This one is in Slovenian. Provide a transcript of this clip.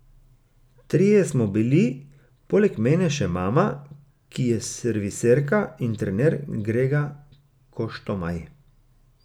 Trije smo bili, poleg mene še mama, ki je serviserka, in trener Grega Koštomaj.